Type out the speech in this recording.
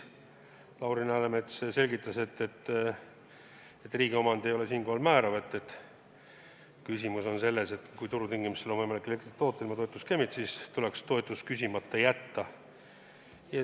Lauri Läänemets selgitas, et riigi omand ei ole siinkohal määrav, küsimus on selles, et kui turutingimustes on võimalik elektrit toota ilma toetuseta, siis tuleks toetus küsimata jätta.